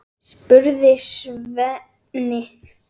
spurði Svenni.